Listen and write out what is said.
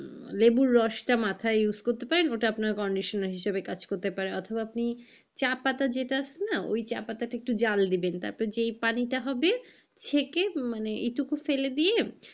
লেবুর রসটা মাথায় use করতে পারেন ওটা কন্ডিশনার হিসেবে কাজ করতে পারে অথবা আপনি চা পাতা যেটা আছে না ওই চা পাতা একটু জাল দিবেন। তারপরে যেই পানিটা হবে চেকে মানে এইটুকু ফেলে দিয়ে,